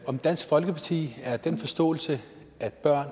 om dansk folkeparti har den samme forståelse af børn